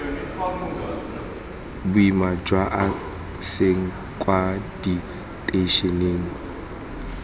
boima jwa ase kwa diteišeneng